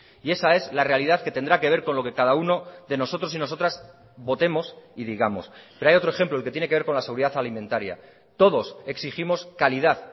y esa es la realidad que tendrá que ver con lo que cada uno de nosotros y nosotras votemos y digamos pero hay otro ejemplo el que tiene que ver con la seguridad alimentaria todos exigimos calidad